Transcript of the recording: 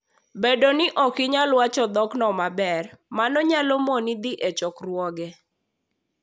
Bedo ni ok inyal wacho dhokno maber, mano nyalo moni dhi e chokruoge.